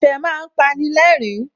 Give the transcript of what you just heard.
Ẹ̀fẹ̀ má ń pani lẹ́rìn-ín